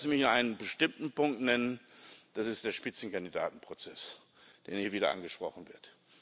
Lassen Sie mich einen bestimmten Punkt nennen das ist der Spitzenkandidaten Prozess, der hier wieder angesprochen wird.